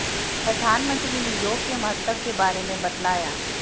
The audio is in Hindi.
प्रधानमंत्री ने योग के महत्व के बारे में बतलाया